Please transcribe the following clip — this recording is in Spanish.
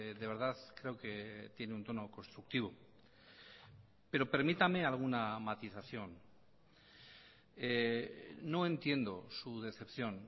de verdad creo que tiene un tono constructivo pero permítame alguna matización no entiendo su decepción